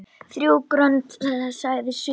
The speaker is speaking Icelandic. Þrjú grönd sagði suður.